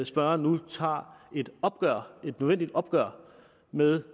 spørgeren nu tager et nødvendigt opgør med